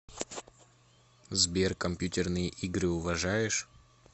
сбер компьютерные игры уважаешь